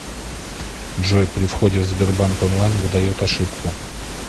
джой при входе в сбербанк онлайн выдает ошибку